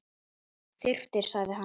Þyrftir sagði hann.